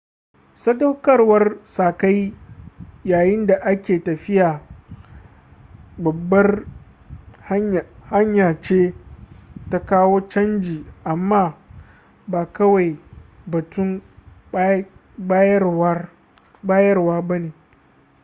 sadaukarwar sa-kai yayin da a ke tafiya babbar hanya ce ta kawo canji amma ba kawai batun bayarwa ba ne